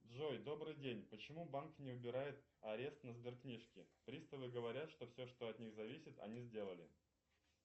джой добрый день почему банк не убирает арест на сберкнижке приставы говорят что все что от них зависит они сделали